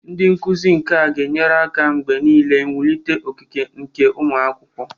Ndị nkuzi nka ga-enyere aka mgbe niile wulite okike nke ụmụ akwụkwọ.